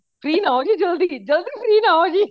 free ਨਾ ਹੋਜੀ ਜਲਦੀ ਜਲਦੀ free ਨਾ ਹੋਜੀ